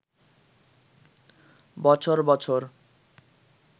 বছর বছর